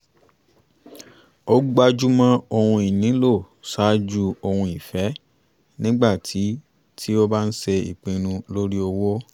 ó gbájúmọ́ ohun ìnílò ṣáájú ohun ìfẹ́ nígbà tí tí ó bá ń ṣe ìpinnu lórí owó